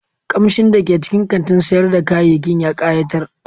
Kamshin da ke cikin kantin sayar da kayayyaki ya kayatar.